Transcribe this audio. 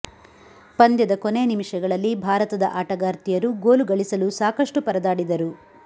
ಪಂದ್ಯದ ಕೊನೆ ನಿಮಿಷಗಳಲ್ಲಿ ಭಾರತದ ಆಟಗಾರ್ತಿಯರು ಗೋಲು ಗಳಿಸಲು ಸಾಕಷ್ಟು ಪರದಾಡಿದರು